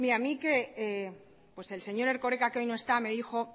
mire a mí el señor erkoreka que hoy no está me dijo